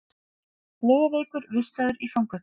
Flogaveikur vistaður í fangaklefa